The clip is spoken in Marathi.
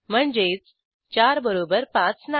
म्हणजेच 4 बरोबर 5 नाही